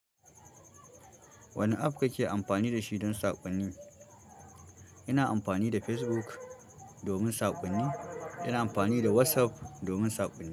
Wane app kake amfani da shi don saƙonni? Ina amfani da Facebook domin sakonni. Ina amfani da WhatsApp domin sakonni.